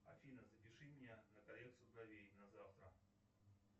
афина запиши меня на коррекцию бровей на завтра